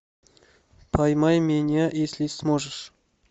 поймай меня если сможешь